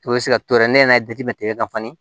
I bɛ se ka t'o yɛrɛ ne yɛrɛ jate kan ne